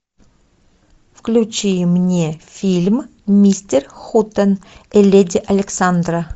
включи мне фильм мистер хутен и леди александра